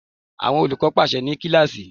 Àwọn olùkọ́ pàsẹ ní kíláàsì.